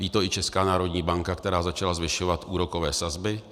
Ví to i Česká národní banka, která začala zvyšovat úrokové sazby.